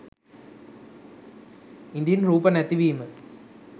ඉදින් රූප නැතිවීම